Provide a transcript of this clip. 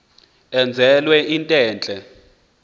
enzelwe into entle